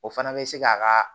O fana bɛ se k'a ka